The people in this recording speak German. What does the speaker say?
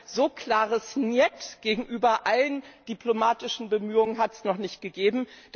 Also ein so klares Njet gegenüber allen diplomatischen Bemühungen hat es noch nicht gegeben!